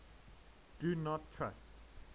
do not trust